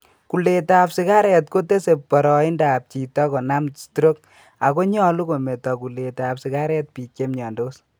Kulet ab sigaret kotese boroindab chito konam stroke ago nyolu kometo kulet ab sigaret biik chemyondos